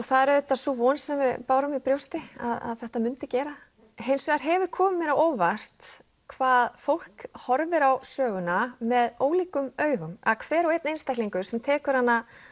það er auðvitað sú von sem við bárum í brjóstu að þetta myndi gera hins vegar hefur komið mér á óvart hvað fólk horfir á söguna með ólíkum augum að hver og einn einstaklingur sem tekur hana